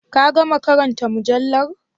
Ka gama karanta mujallar?